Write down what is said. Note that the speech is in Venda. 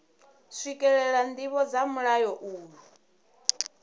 swikelela ndivho dza mulayo uyu